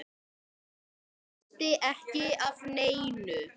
Missti ekki af neinu.